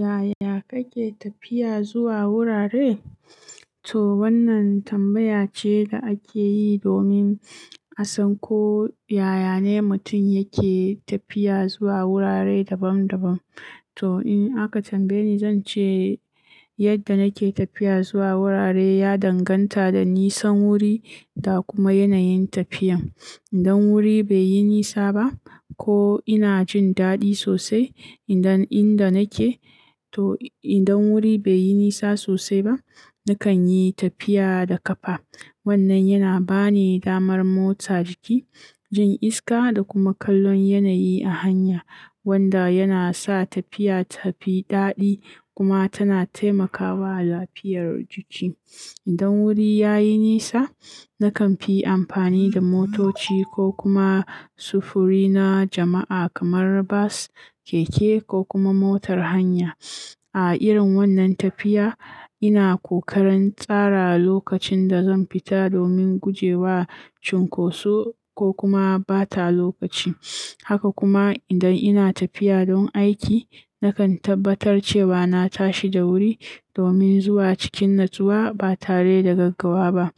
Yaya kake tafiya zuwa wurare? To wannan tambaya ce da ake yi domin a san ko yaya ne mutum yake tafiya zuwa wurare daban-daban. To in aka tambaye ni, zan ce yadda nake tafiya zuwa wurare ya danganta ga nisan wuri da kuma yanayin tafiyan. Idan wuri bai yi nisa ba ko ina jin daɗi sosai, idan inda nake, to idan wuri bai yi nisa sosai ba, nakan yi tafiya da kafa. Wannan yana ba ni damar motsa jiki, jin iska da kuma kallon yanayi a hanya wanda yana sa tafiya ta fi daɗi kuma tana taimakawa lafiyar jiki. Idan wuri ya yi nisa, nakan fi amfani da motoci ko kuma sufuri na jama'a kamar bus, keke ko kuma motar hanya. A irin wannan tafiya, ina kokarin tsara lokacin da zan fita domin gujewa cunkoso ko kuma ɓata lokaci. Haka kuma idan ina tafiya don aiki, nakan tabbatar cewa na tashi da wuri domin zuwa cikin natsuwa ba tare da gaggawa ba.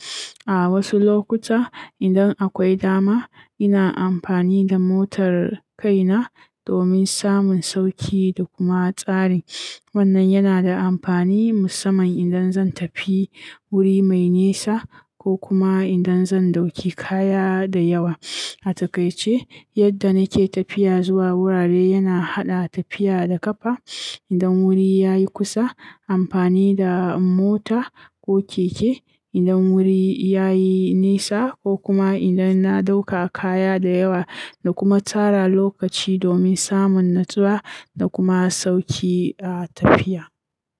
A wasu lokutan, idan akwai dama, ina amfani da motar kaina domin samun sauƙi da kuma tsari. Wannan yana da amfani musamman idan zan tafi wuri mai nisa ko kuma idan zan ɗauki kaya da yawa. A takaice, yadda nake tafiya zuwa wurare yana haɗa tafiya da kafa idan wuri ya yi kusa, amfani da mota ko keke idan wuri ya yi nisa ko kuma idan na ɗauka kaya dayawa da kuma tsara lokaci domin samun natsuwa da kuma sauƙi a tafiya.